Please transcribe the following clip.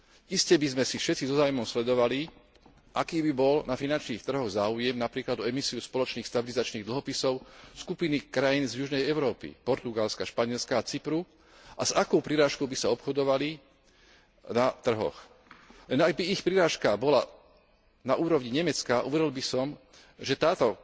Iste by sme všetci so záujmom sledovali, aký by bol na finančných trhoch záujem napríklad o emisiu spoločných stabilizačných dlhopisov skupiny krajín z južnej Európy Portugalska, Španielska a Cypru, a s akou prirážkou by obchodovali na trhoch. Ak by ich prirážka bola na úrovni Nemecka, hovoril by som, že toto